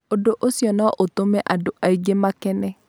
Ũndũ ũcio no ũtũme andũ aingĩ makene.